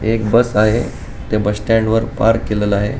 हे एक बस आहे ते बस स्टँड वर पार्क केलेल आहे.